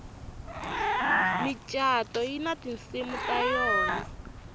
micato yina tinsimu ta yona